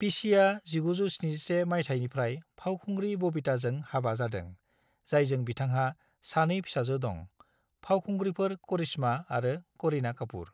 पिशीआ 1971 माइथायनिफ्राय फावखुंग्रि बबीताजों हाबा जादों, जायजों बिथांहा सानै फिसाजो दं, फावखुंग्रिफोर करिश्मा आरो करीना कापूर।